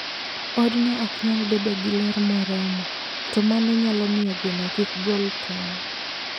Odno ok nyal bedo gi ler moromo, to mano nyalo miyo gweno kik gol tong'.